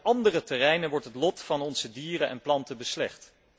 Juist op andere terreinen wordt het lot van onze dieren en planten beslecht.